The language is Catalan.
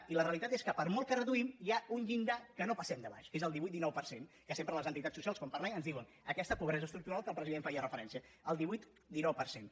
i la realitat és que per molt que reduïm hi ha un llindar que no passem de baix que és el divuit dinou per cent que sempre les entitats socials quan parlem ens diuen aquesta pobresa estructural a què el president feia referència el divuit dinou per cent